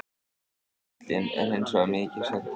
Bíllinn er hins vegar mikið skemmdur